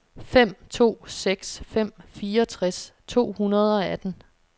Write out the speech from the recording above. fem to seks fem fireogtres to hundrede og atten